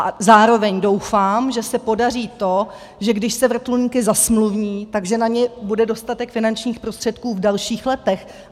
A zároveň doufám, že se podaří to, že když se vrtulníky zasmluvní, tak na ně bude dostatek finančních prostředků v dalších letech.